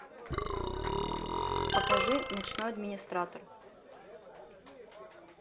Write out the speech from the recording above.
покажи ночной администратор